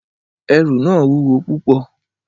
Ẹrù náà wúwo púpọ̀.